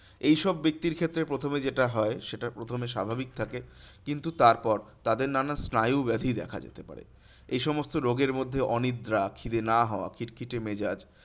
এইসব ব্যক্তির ক্ষেত্রে প্রথমে যেটা হয় সেটা প্রথমে স্বাভাবিক থাকে কিন্তু তার পর তাদের নানা স্নায়ু ব্যাধি দেখা দিতে পারে। এইসমস্ত রোগের মধ্যে অনিদ্রা, খিদে না হওয়া, খিটখিটে মেজাজ,